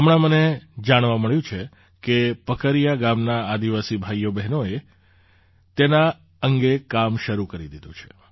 હમણાં મને જાણવા મળ્યું છે કે પકરિયા ગામનાં આદિવાસી ભાઈઓબહેનોએ તેના અંગે કામ શરૂ કરી દીધું છે